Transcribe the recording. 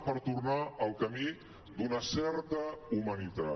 per tornar al camí d’una certa humanitat